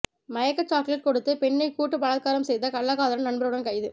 மயக்க சாக்லெட் கொடுத்து பெண்ணை கூட்டு பலாத்காரம் செய்த கள்ளக்காதலன் நண்பருடன் கைது